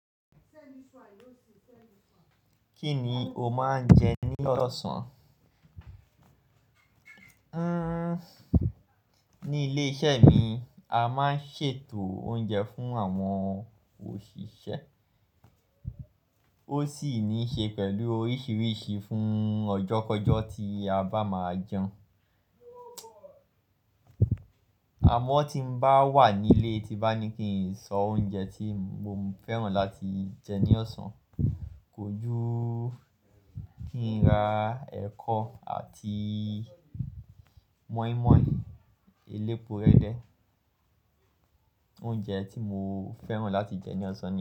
Kíni o máa ń jẹ ní ọ̀sán? Ní ilé iṣẹ́ mi, a máa ń ṣètò oúnjẹ fún àwọn òṣìṣẹ́. Ó sì ní ṣe pẹ̀lú oríṣiríṣi fún ọjọ́kọjọ́ tí a bá máa jẹun. Àmọ́ tí n bá wà nílé tí bá ní kí n sọ oúnjẹ tí mo fẹ́ràn láti jẹ ní ọ̀sán, kò jú kí n ra ẹ̀kọ àti mọ́ímọ́í, elépo rẹ́dẹ́. Oúnjẹ tí mo fẹ́ràn láti jẹ ní ọ̀sán ni.